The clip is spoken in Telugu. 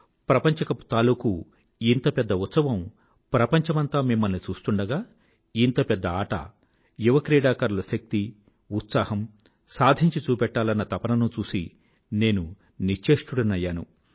ప్రపంచ కప్ తాలూకూ ఇంత పెద్ద ఈవెంట్ ప్రపంచమంతా మిమ్మల్ని చూస్తుండగా ఇంత పెద్ద ఆట యువ క్రీడాకారుల శక్తి ఉత్సాహం సాధించి చూపెట్టాలన్న తపననూ చూసి నేను నిశ్చేష్టుడనయ్యాను